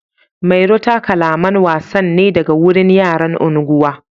Mairo ta kalaman wasan ne daga wurin yaran unguwa.